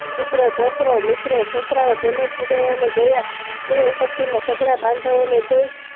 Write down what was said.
પુત્ર પોટ્રો મિત્રો સાસરાઓ તેમજ સુદારોને જોયા તે ઉપસતી માં સઘળા બાંધા ઓ ને જોયી